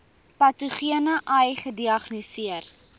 patogene ai gediagnoseer